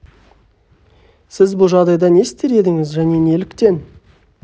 сіз бұл жағдайда не істер едіңіз және неліктен